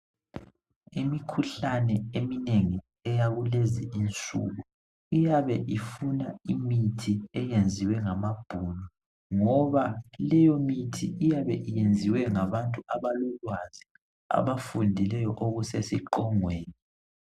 Imikhuhlane eminengi eyakulezi insuku iyabe ifuna imithi eyenziwe ngamabhunu ngoba leyo imithi iyabe iyenziwe ngabantu abalolwazi abafundileyo okusesiqongweni.